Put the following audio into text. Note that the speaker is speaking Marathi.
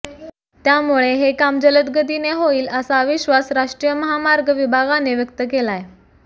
त्यामुळे हे काम जलदगतीने होईल असा विश्वास राष्ट्रीय महामार्ग विभागाने व्यक्त केलाय